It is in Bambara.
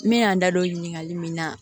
N bɛ yan n da don ɲininkali min na